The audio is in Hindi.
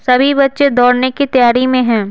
सभी बच्चे दौड़ने की तैयारी में हैं।